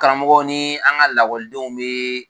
Karamɔgɔ ni an ka bɛ.